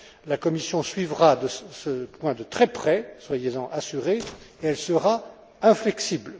la Commission suivra ce point de très près, soyez en assurés, et elle sera inflexible.